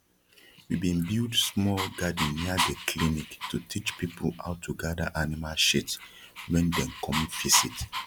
we bin build small garden near de clinic to teach people how to gada animal shit wen dem come visit